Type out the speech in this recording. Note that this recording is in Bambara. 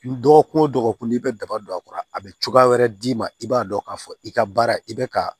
Dɔgɔkun o dɔgɔkun i bɛ daba don a kɔrɔ a bɛ cogoya wɛrɛ d'i ma i b'a dɔn k'a fɔ i ka baara i bɛ ka